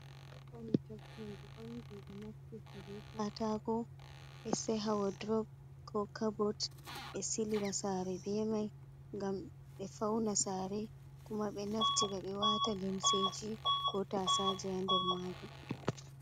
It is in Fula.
Honɗe onni dum be naftirta be kataku. Be seha wodrop, ko cabot. Be silila sare bemai. Gam be fauna sare, kuma be naftira be wata limseji ko tasaje ha nder majum.